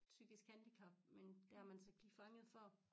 Psykisk handicap men det har man så ikke lige fanget før